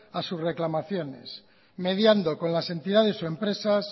a susreclamaciones mediando con las entidades o empresas